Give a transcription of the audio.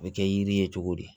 A bɛ kɛ yiri ye cogo di